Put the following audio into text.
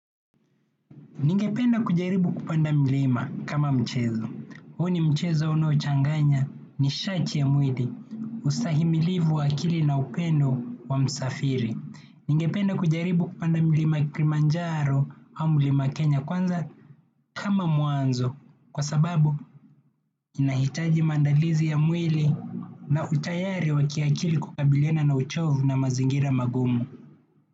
Ningependa kujaribu kupanda mlima kama mchezo. Huo ni mchezo unaochanganya nishati ya mwili, ustahimilivu wa akili na upendo wa msafiri. Ningependa kujaribu kupanda mlima kilimanjaro ama mlima Kenya kwanza kama mwanzo. Kwa sababu, inahitaji maandalizi ya mwili na utayari wa kiakili kukabiliana na uchovu na mazingira magumu.